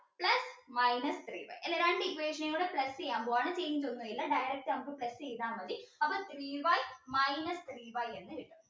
minus three y ഇതില് രണ്ട് equation ഉം കൂടി plus ചെയ്യാൻ പോവ്വാണ് direct നമുക്ക് plus ചെയ്ത മതി അപ്പൊ three y minus three y ന്ന് എഴുതണം